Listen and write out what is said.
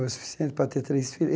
Bom, o suficiente para ter três